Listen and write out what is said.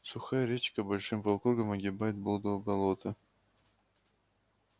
сухая речка большим полукругом огибает блудово болото